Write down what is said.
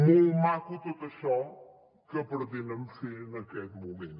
molt maco tot això que pretenen fer en aquest moment